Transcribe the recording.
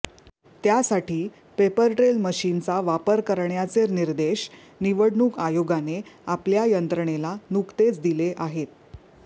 त्यासाठी paper trail मशीन्सचा वापर करण्याचे निर्देश निवडणूक आयोगाने आपल्या यंत्रणेला नुकतेच दिले आहेत